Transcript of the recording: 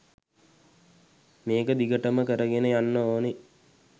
මේක දිගටම කරගෙන යන්න ඕනෙ